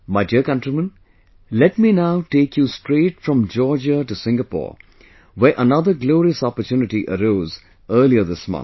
My dear countrymen, let me now take you straight from Georgia to Singapore, where another glorious opportunity arose earlier this month